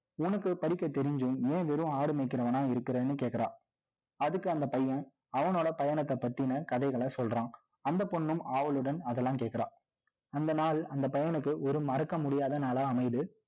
உனக்குப் படிக்கத் தெரிஞ்சும், நீ வெறும் ஆடு மேய்க்கிறவனா இருக்கிறேன்னு கேட்கிறான் அதுக்கு அந்த பையன் அவனோட பயணத்தைப் பத்தின கதைகளை சொல்றான். அந்தப் பொண்ணும் ஆவலுடன், அதெல்லாம் கேக்கறா அந்த நாள், அந்தப் பையனுக்கு, ஒரு மறக்க முடியாத நாளா அமையுது